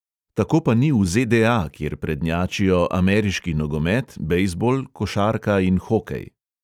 Tako pa ni v ze|de|a, kjer prednjačijo ameriški nogomet, bejzbol, košarka in hokej.